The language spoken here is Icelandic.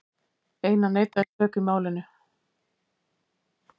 Einar neitaði sök í málinu.